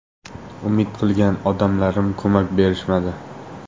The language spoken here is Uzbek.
Umid qilgan odamlarim ko‘mak berishmadi.